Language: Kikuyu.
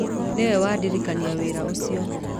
Nĩwe wa ndĩndĩkĩrĩria wĩra ũcio